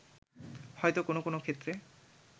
হয়তো কোনো কোনো ক্ষেত্রে